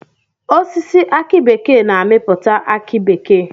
Osisi aki bekee na amiputa aki bekee.